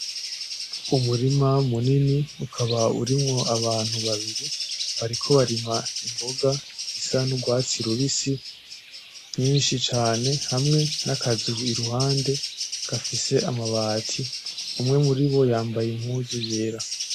Umurima munini ukaba urimwo abantu babiri bariko barima imboga zisa nurwatsi rubisi vyinshi cane hamwe nakazu iruhande gafise amabati umwe muri bo yambaye impuzu yera.